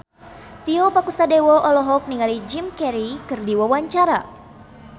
Tio Pakusadewo olohok ningali Jim Carey keur diwawancara